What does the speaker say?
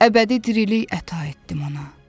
Əbədi diriliyi əta etdim ona.